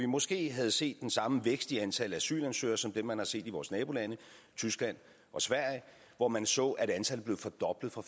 måske havde set den samme vækst i antallet af asylansøgere som man har set i vores nabolande tyskland og sverige hvor man så at antallet blev fordoblet fra